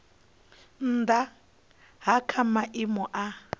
nnda ha kha maimo a